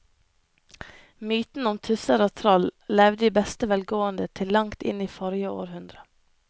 Mytene om tusser og troll levde i beste velgående til langt inn i forrige århundre.